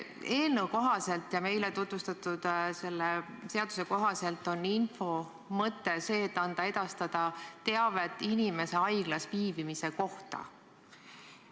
Eelnõu ja meile tutvustatud seaduse kohaselt on kriisiinfo teenuse mõte anda teavet inimese haiglas viibimise kohta.